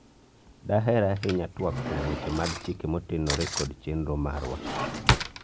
daher ahinya twak kuom weche mag chike motenore kod chenro marwa